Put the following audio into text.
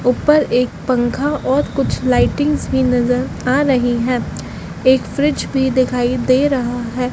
ऊपर एक पंखा और कुछ लाइटिंग्स भी नज़र आ रही हैं एक फ्रिज भी दिखाइ दे रहा है।